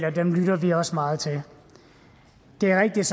og dem lytter vi også meget til det er rigtigt